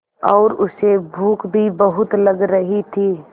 और उसे भूख भी बहुत लग रही थी